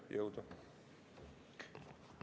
Jõudu!